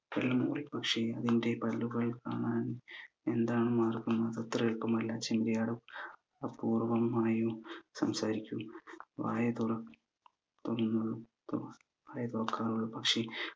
പക്ഷെ അതിന്റെ പല്ലുകൾ കാണാൻ എന്താണ് മാർഗം അതത്ര എളുപ്പമല്ല ചെമ്മരിയാട് അപൂർവമായും സംസാരിക്കു വായ തുറ തുറന്നുള്ളു തുറ വായ തുറക്കാറുള്ളു പക്ഷെ